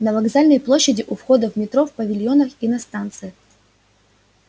на вокзальной площади у входа в метро в павильонах и на станциях